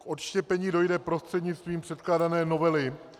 K odštěpení dojde prostřednictvím předkládané novely -